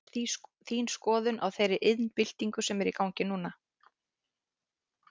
Hver er þín skoðun á þeirri iðnbyltingu sem er í gangi núna?